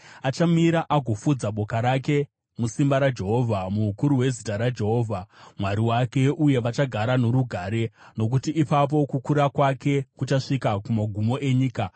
Achamira agofudza boka rake musimba raJehovha, muukuru hwezita raJehovha Mwari wake. Uye vachagara norugare, nokuti ipapo kukura kwake kuchasvika kumagumo enyika.